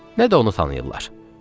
Nə də onu tanıyırlar.